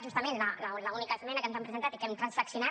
justament l’única esmena que ens han presentat i que hem transaccionat